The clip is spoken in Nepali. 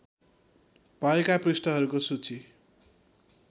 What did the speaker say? भएका पृष्ठहरूको सूची